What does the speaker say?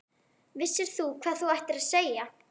Vissir þú hvað þú ættir að segja?